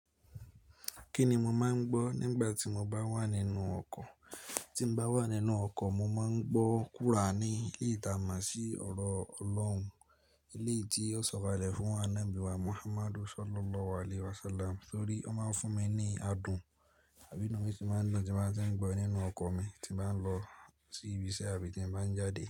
Kí ni mo máa ń gbọ́ nígbà tí mo bá wà nínú ọkọ̀? Tí mo bá wà nínú ọkọ̀, mo máa ń gbọ́ quraanì, leyi ta máa ṣí ọ̀rọ̀ Ọlọ́run, eléyi tí ó sọkalẹ̀ fún annabi wa Muhammad Sallallahu alaihi wasallam torí. Ó máa ń fún mi ní adùn. Àbí inú mi si màá dùn tí n ba tiń gbọ́ nínú ọkọ̀ mi tí màá ń lọ sí ibiṣẹ́ àbí tí bàá ń jáde.